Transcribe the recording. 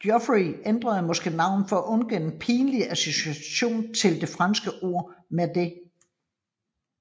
Geoffrey ændrede måske navnet for at undgå den pinlige association til det franske ord merde